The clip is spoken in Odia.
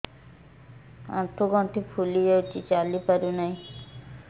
ଆଂଠୁ ଗଂଠି ଫୁଲି ଯାଉଛି ଚାଲି ପାରୁ ନାହିଁ